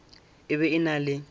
e be e na le